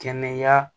Kɛnɛya